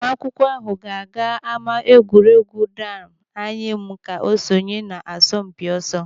Ụmụ akwụkwọ ahụ ga-aga ama egwuregwu Dan Anyịam ka sonye n'asọmpi ọsọ.